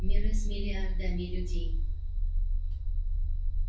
миры с миллиардами людей